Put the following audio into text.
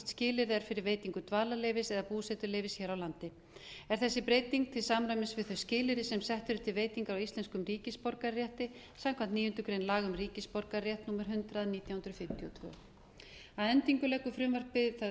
skilyrði er fyrir veitingu dvalarleyfis eða búsetuleyfis hér á landi er þessi breyting til samræmis við þau skilyrði sem sett eru til veitingar á íslenskum ríkisborgararétti samkvæmt níundu grein laga um ríkisborgararétt númer hundrað nítján hundruð fimmtíu og tvö að endingu